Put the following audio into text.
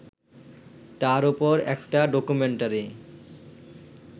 তার ওপর একটা ডকুমেন্টারি